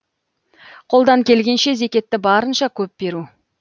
қолдан келгенше зекетті барынша көп беру